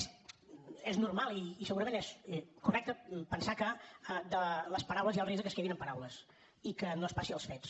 és normal i segurament és correcte pensar que les paraules hi ha el risc que es quedin en paraules i que no es passi als fets